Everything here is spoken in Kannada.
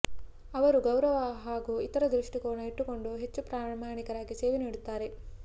ಅವರು ಗೌರವ ಹಾಗೂ ಇತರ ದೃಷ್ಟಿಕೋನ ಇಟ್ಟುಕೊಂಡು ಹೆಚ್ಚು ಪ್ರಾಮಾಣಿಕರಾಗಿ ಸೇವೆ ನೀಡುತ್ತಾರೆ